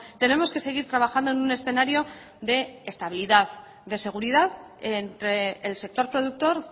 tenemos que seguir trabajando en un escenario de estabilidad de seguridad entre el sector productor